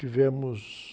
Tivemos...